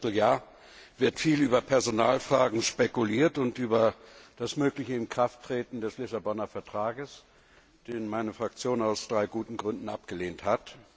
Seit einem Vierteljahr wird viel über Personalfragen spekuliert und über das mögliche Inkrafttreten des Vertrags von Lissabon, den meine Fraktion aus drei guten Gründen abgelehnt hat.